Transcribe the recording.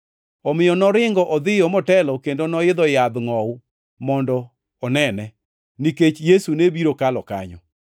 Omiyo noringo odhiyo motelo kendo noidho yadh ngʼowu mondo onene, nikech Yesu ne biro kalo kanyo.